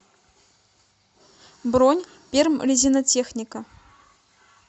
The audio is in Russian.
бронь пермрезинотехника